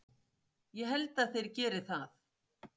Ég held að þeir geri það!